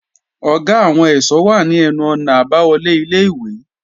Ọ̀gá àwọn ẹ̀ṣọ́ wà ní ẹnu-ọ̀nà àbáwọlé ilé-ìwé